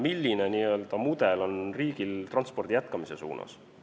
Milline mudel on riigil transpordi jätkamiseks?